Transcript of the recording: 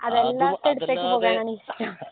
അതെല്ലാത്ത അടുത്തേക് പോകാനാണ് ഇഷ്ട്ടം